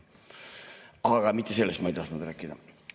Aga mitte sellest ma ei tahtnud rääkida.